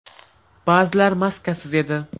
Ba’zilar maskasiz edi.